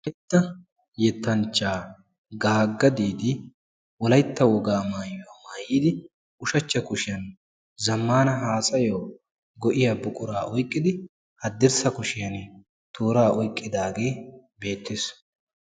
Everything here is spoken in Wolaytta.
Wolaytta yettanchchaa gaagga diidi wolayitta wogaa maayuwa maayidi ushachcha kushiyan zammana haasayo go7iya buquraa oyqqidi haddirssa kushiyan tooraa oyqqidaagee beettes.